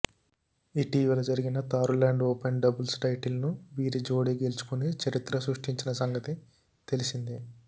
ఇటీవల జరిగిన Thailand open doubles టైటిల్ను వీరి జోడీ గెల్చుకొని చరిత్ర సృష్టించిన సంగతి తెలిసిందే